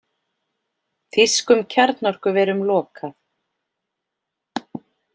Þýskum kjarnorkuverum lokað